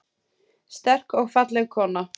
Sterk og falleg kona.